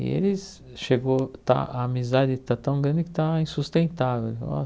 E eles chegou... está a amizade está tão grande que está insustentável. Ele falou ó